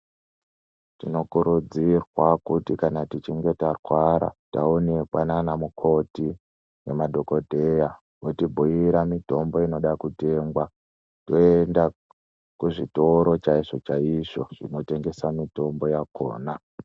Tinokurudzirwa kuti kana tichinge tarwara taonekwa nana mukoti nemadhokodheya otibhuira mitombo inoda kutengwa toenda kuzvitoro chaizvo chaizvo zvinotengesa mitombo yakona .